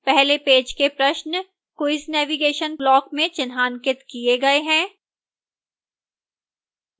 पहले पेज के प्रश्न quiz navigation block में चिन्हांकित the गए हैं